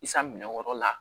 I san minɛn wɛrɛw la